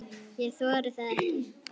Ég þori það ekki.